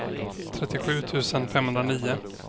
trettiosju tusen femhundranio